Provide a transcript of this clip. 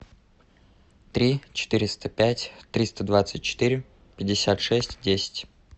три четыреста пять триста двадцать четыре пятьдесят шесть десять